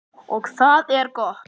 Og það er gott.